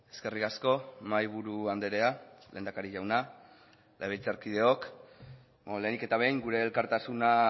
eskerrik asko mahaiburu andrea lehendakari jauna legebiltzarkideok lehenik eta behin gure elkartasuna